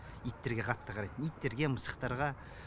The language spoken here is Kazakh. иттерге қатты қарайтын иттерге мысықтарға